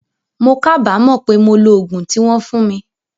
Mo kábàámọ̀ pé mo lo ogún tí wón fún mi